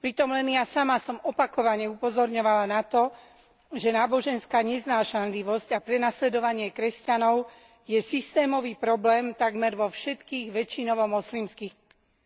Pritom len ja sama som opakovane upozorňovala na to, že náboženská neznášanlivosť a prenasledovanie kresťanov je systémový problém takmer vo všetkých väčšinovo moslimských